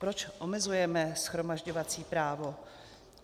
Proč omezujeme shromažďovací právo?